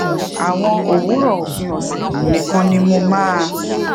àwọn òwúrò òpin òsè nìkan ni mo máa